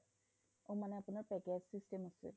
অ মানে আপোনাৰ